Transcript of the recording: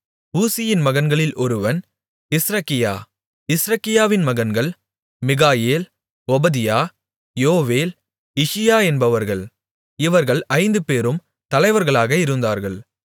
ஊசியின் மகன்களில் ஒருவன் இஸ்ரகியா இஸ்ரகியாவின் மகன்கள் மிகாயேல் ஒபதியா யோவேல் இஷியா என்பவர்கள் இவர்கள் ஐந்துபேரும் தலைவர்களாக இருந்தார்கள்